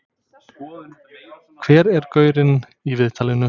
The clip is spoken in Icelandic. Hver er gaurinn í viðtalinu?